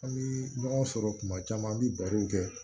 An bɛ ɲɔgɔn sɔrɔ kuma caman an bɛ baro kɛ